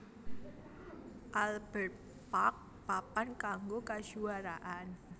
Albert Park papan kanggo kajuaraan